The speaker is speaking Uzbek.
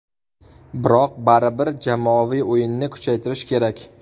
Biroq baribir jamoaviy o‘yinni kuchaytirish kerak.